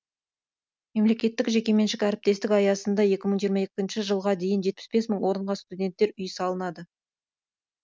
мемлекеттік жекеменшік әріптестік аясында екі мың жиырма екінші жылға дейін жетпіс бес мың орынға студенттер үйі салынады